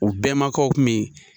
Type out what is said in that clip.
U bɛmakaw kun bi .